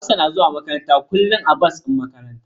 Hafsa na zuwa makaranta kullum a bas din makaranta.